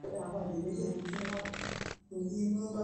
enkoitoi sii sidai nikinchoo ropiyani kumok tenimir ilkiek oo mbaoi